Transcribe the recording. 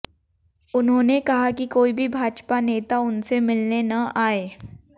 उन्होंने कहा कि कोई भी भाजपा नेता उनसे मिलने न आए